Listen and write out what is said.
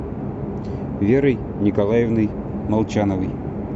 верой николаевной молчановой